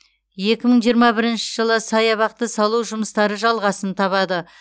екі мың жиырма бірінші жылы саябақты салу жұмыстары жалғасын табады